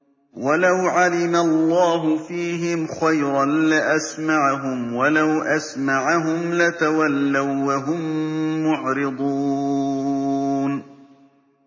وَلَوْ عَلِمَ اللَّهُ فِيهِمْ خَيْرًا لَّأَسْمَعَهُمْ ۖ وَلَوْ أَسْمَعَهُمْ لَتَوَلَّوا وَّهُم مُّعْرِضُونَ